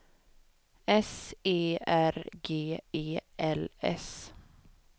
S E R G E L S